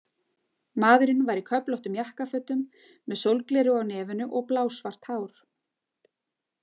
Maðurinn var í köflóttum jakkafötum með sólgleraugu á nefinu og blásvart hár.